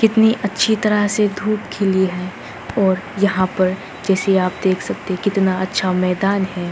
कितनी अच्छी तरह से धूप खिली है और यहाँ पर जैसे आप देख सकते कितना अच्छा मैदान है।